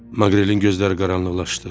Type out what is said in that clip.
Maqrelin gözləri qaranlıqlaşdı.